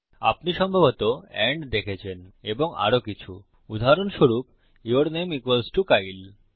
আপনি সম্ভবত এন্ড দেখেছেন এবং আরো কিছু উদাহরণস্বরূপ ইউর নামে ইকুয়ালস টো কাইল